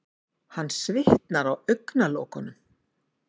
Hann svitnar á augnalokunum.